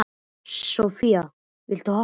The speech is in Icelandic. Sophia, viltu hoppa með mér?